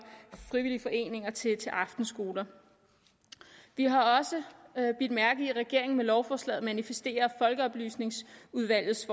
frivillige foreninger til til aftenskoler vi har også bidt mærke i at regeringen med lovforslaget manifesterer at folkeoplysningsudvalgets